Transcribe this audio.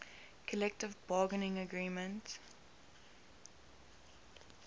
collective bargaining agreement